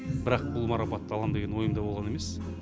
бірақ бұл марапатты алам деген ойымда болған емес